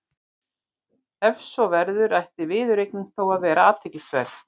Ef svo verður ætti viðureignin þó að vera athyglisverð.